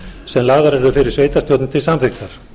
sem lagðar eru fyrir sveitarstjórnir til samþykktar